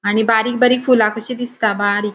आणि बारीक बारीक फूला कशी दिसता बारीक.